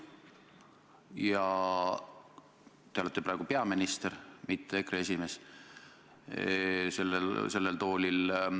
Ja te olete praegu kõnetoolis peaminister, mitte EKRE esimees.